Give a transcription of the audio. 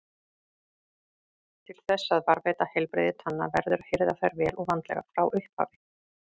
Til þess að varðveita heilbrigði tanna verður að hirða þær vel og vandlega frá upphafi.